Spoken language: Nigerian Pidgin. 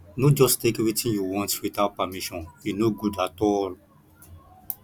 no just take wetin you want without permission e no good at all